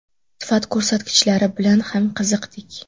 Sifat ko‘rsatkichlari bilan ham qiziqdik.